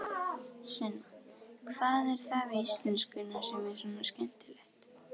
Sunna: Hvað er það við íslenskuna sem er svona skemmtilegt?